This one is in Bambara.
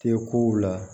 Tɛ kow la